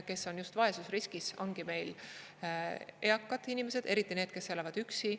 Kes on vaesusriskis, ongi meil eakad inimesed, eriti need, kes elavad üksi.